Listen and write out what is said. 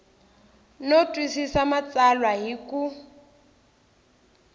no twisisa matsalwa hi ku